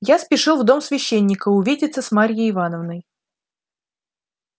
я спешил в дом священника увидеться с марьей ивановной